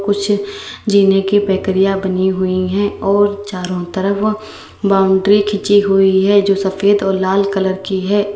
कुछ जीने की पैकरिया बनी हुई है और चारों तरफ बाउंड्री खींची हुई है जो सफेद और लाल कलर की है।